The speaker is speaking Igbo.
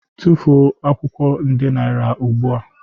Tufuo akwụkwọ nde naira ugbu a.